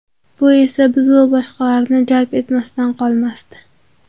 Bu esa biz va boshqalarni jalb etmasdan qolmasdi.